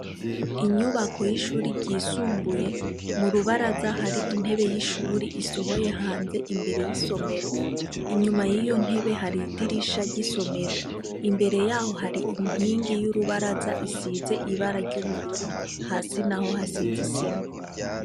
Munyubako y'ishuri ryisumbuye ,m'urubaraza hari intebe y'ishuri isohoye hanze imbere y'isomero, inyuma yiyo ntebe hari idirisha ry'isomero, imbere yaho hari inkingi y'urubaraza isize ibara ry'ubururu ,hasi naho hasiz'isima.